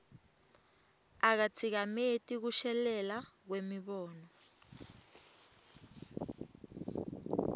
akatsikameti kushelela kwemibono